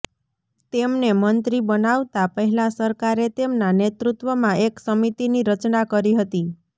તેમને મંત્રી બનાવતા પહેલા સરકારે તેમનાં નેતૃત્વમાં એક સમિતીની રચના કરી હતી